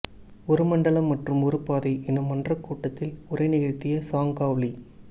ஒரு மண்டலம் மற்றும் ஒரு பாதை எனும் மன்றக் கூட்டத்தில் உரை நிகழ்த்திய சாங் காவ் லீ